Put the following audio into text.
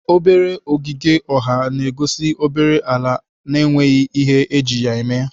Obere ọgịge ọha na-egosi obere ala na-enweghị ihe eji ya eme.